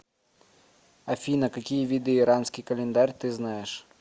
афина какие виды иранский календарь ты знаешь